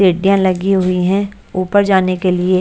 सीढ़ियां लगी हुई हैं ऊपर जाने के लिए।